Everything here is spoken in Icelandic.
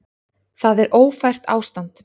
Það er ófært ástand.